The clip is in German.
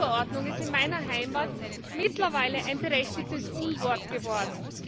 Saatgutverordnung ist in meiner Heimat mittlerweile ein berechtigtes Unwort geworden.